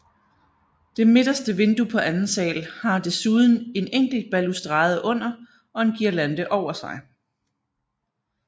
Det midterste vindue på anden sal har desuden en enkelt balustrade under og en guirlande over sig